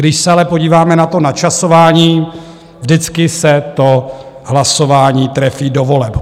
Když se ale podíváme na to načasování, vždycky se to hlasování trefí do voleb.